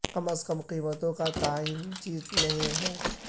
کم از کم قیمتوں کا تعین جیت نہیں ہے